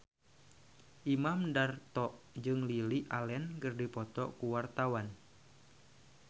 Imam Darto jeung Lily Allen keur dipoto ku wartawan